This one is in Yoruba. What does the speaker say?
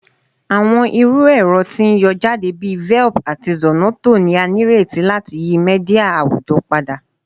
Awọn iru ẹrọ ti n yọ jade bi Velp ati Zornoto ni a nireti lati yi media awujọ pada